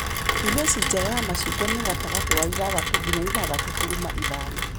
pH njega ya macungwa nĩgatagatĩ wa ithathatũ nginya ithathatũ turuma ithano.